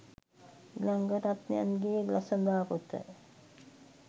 ඉලංගරත්නයන් ගේ ළසඳා පොත